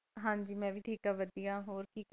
ਹਾਂਜੀ ਮੈਂ ਵੀ ਠੀਕ ਹੈਂ ਵਧੀਆ ਹੋਰ ਕੀ,